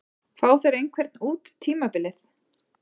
Fá þeir einhvern út tímabilið?